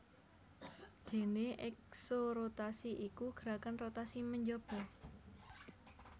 Déné eksorotasi iku gerakan rotasi menjaba